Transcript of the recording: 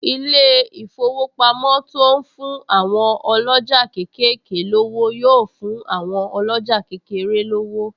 Ilé-ìfowópamọ́ to ń fún àwọn ọlọ́jà kéékèèké lówó yóò fún àwọn ọlọ́jà kékeré lówó